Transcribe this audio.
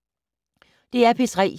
DR P3